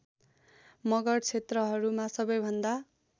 मगर क्षेत्रहरूमा सबैभन्दा